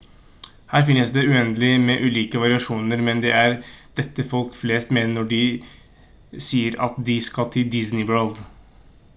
her finnes det uendelig med ulike variasjoner men det er dette folk flest mener når de sier at de skal til disney world